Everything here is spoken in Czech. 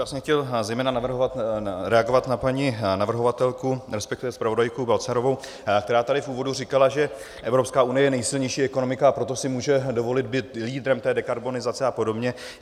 Já jsem chtěl zejména reagovat na paní navrhovatelku, respektive zpravodajku Balcarovou, která tady v úvodu říkala, že Evropská unie je nejsilnější ekonomika, a proto si může dovolit být lídrem té dekarbonizace a podobně.